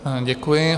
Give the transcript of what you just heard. Děkuji.